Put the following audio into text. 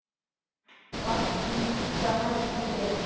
Baggi líka hestur er.